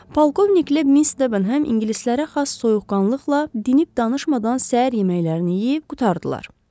Polkovniklə Miss Debenham ingilislərə xas soyuqqanlıqla dinib-danışmadan səhər yeməklərini yeyib qurtardılar.